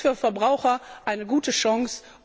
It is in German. Das ist für Verbraucher eine gute Chance.